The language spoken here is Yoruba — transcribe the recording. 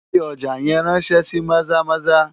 Fi ọjà yẹn ráńṣẹ́ sí Maza-Maza!